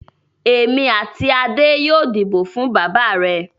Èmi àti Adé yóò dìbò fún bàbá rẹ̀.